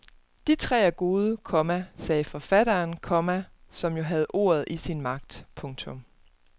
De tre er gode, komma sagde forfatteren, komma som jo havde ordet i sin magt. punktum